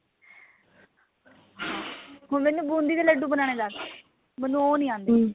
ਹਾਂ ਹੁਣ ਮੈਨੂੰ ਬੂੰਦੀ ਦੇ ਲੱਡੂ ਬਨਾਨੇ ਦਸ ਮੈਨੂੰ ਉਹ ਨਹੀਂ ਆਂਦੇ